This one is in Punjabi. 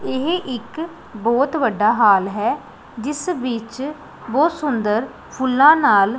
ਇਹ ਇੱਕ ਬਹੁਤ ਵੱਡਾ ਹਾਲ ਹੈ ਜਿਸ ਵਿੱਚ ਬਹੁਤ ਸੁੰਦਰ ਫੁੱਲਾਂ ਨਾਲ--